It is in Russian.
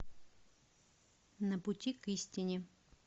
на пути к истине